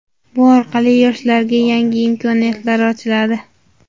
bu orqali yoshlarga yangi imkoniyatlar ochiladi.